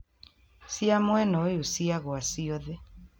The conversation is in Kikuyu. Cia muena uyu ciagua ciothe